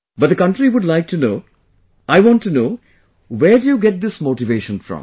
But the country would like to know, I want to know where do you get this motivation from